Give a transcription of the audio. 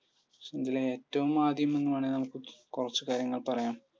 ഇതിൽ ഏറ്റവും ആദ്യം ഇന്ന് വേണേൽ കുറച്ചു കാര്യങ്ങൾ പറയാം.